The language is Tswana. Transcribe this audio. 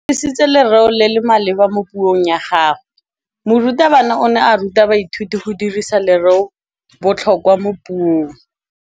O dirisitse lerêo le le maleba mo puông ya gagwe. Morutabana o ne a ruta baithuti go dirisa lêrêôbotlhôkwa mo puong.